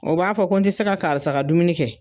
O b'a fɔ ko n ti se ka karisa ka dumuni kɛ